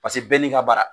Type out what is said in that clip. Paseke bɛɛ n'i ka bara